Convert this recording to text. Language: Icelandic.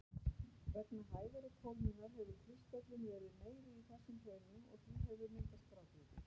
Vegna hægari kólnunar hefur kristöllun verið meiri í þessum hraunum og því hefur myndast grágrýti.